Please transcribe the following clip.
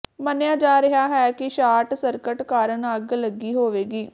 ਮੰਨਿਆ ਜਾ ਰਿਹਾ ਹੈ ਕਿ ਸ਼ਾਰਟ ਸਰਕਟ ਕਾਰਨ ਅੱਗ ਲੱਗੀ ਹੋਵੇਗੀ